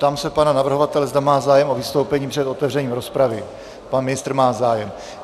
Ptám se pana navrhovatele, zda má zájem o vystoupení před otevřením rozpravy Pan ministr má zájem.